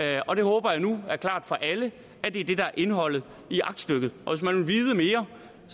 jeg håber nu at er klart for alle at det er det der er indholdet i aktstykket og hvis man vil vide mere